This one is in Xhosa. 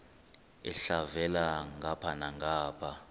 elhavela ngapha nangapha